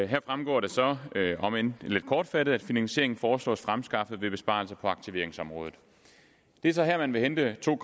her fremgår det så om end lidt kortfattet at finansieringen foreslås fremskaffet ved besparelser på aktiveringsområdet det er så her man vil hente to